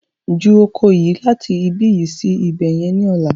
Ju oko yí láti ibi yi sí ibẹ̀yẹn ni ọ̀la!